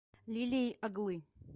лилией оглы